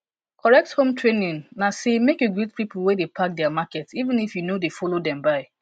correct home training na say make you greet people wey dey pack their market even if you no dey follow dem buy